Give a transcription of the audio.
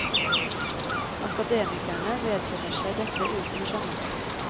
Akademikerne vedkjenner seg dette uten å skjemmes.